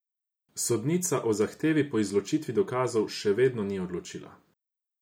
Sodnica o zahtevi po izločitvi dokazov še vedno ni odločila.